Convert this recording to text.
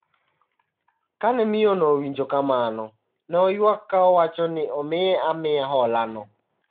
Kane miyono owinjo kamano, ne oywak ka owacho ni omiye amiya holano.